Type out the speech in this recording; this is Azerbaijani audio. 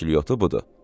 kəklikyotu budur.